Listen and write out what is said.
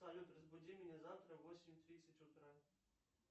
салют разбуди меня завтра в восемь тридцать утра